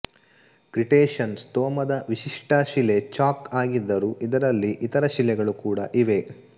Cretaceous ಸ್ತೋಮದ ವಿಶಿಷ್ಟ ಶಿಲೆ ಚಾಕ್ ಆಗಿದ್ದರೂ ಇದರಲ್ಲಿ ಇತರ ಶಿಲೆಗಳು ಕೂಡ ಇವೆ